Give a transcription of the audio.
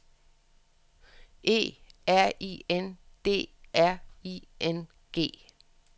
E R I N D R I N G